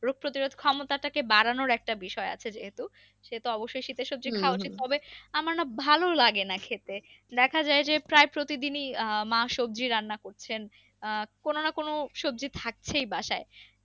রোগ প্রতিরোধ ক্ষমতাটাকে বাড়ানোর একটা বিষয় আছে যেহেতু সেহেতু অবশই শীতের হবে আমার না ভালো লাগে না খেতে দেখা যাই যে প্রায় প্রতিদিনই আহ মা সবজি রান্না করছেন আহ কোনো না কোনো সবজি থাকছেই বাসায়।